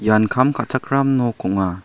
ian kam ka·chakram nok ong·a.